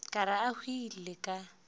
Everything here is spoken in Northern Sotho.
ka re a hwile a